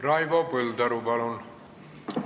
Raivo Põldaru, palun!